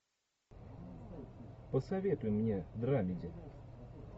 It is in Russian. посоветуй мне драмеди